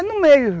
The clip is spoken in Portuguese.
É no meio.